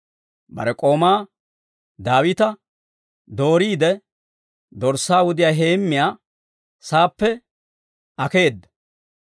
Bare k'oomaa Daawita dooriide, dorssaa wudiyaa heemmiyaa saappe akkeedda.